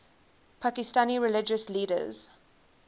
pakistani religious leaders